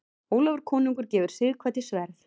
Ólafur konungur gefur Sighvati sverð.